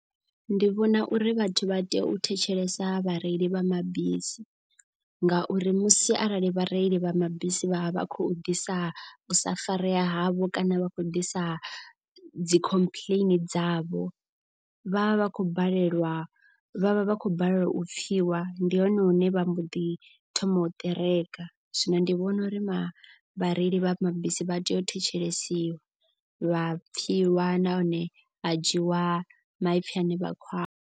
Ndi vhona uri vhathu vha tea u thetshelesa vhareili vha mabisi. Ngauri musi arali vhareili vha mabisi vha vha vha khou ḓisa u sa farea havho kana vha khou ḓisa dzi complain dzavho. Vhavha vha khou balelwa vhavha vha khou balelwa u pfhiwa. Ndi hone hune vha mbo ḓi thoma u ṱereka zwino ndi vhona uri vhareili vha mabisi vha tea u thetshelesiwa. Vha pfhiwa nahone ha dzhiwa maipfi ane vha khou a.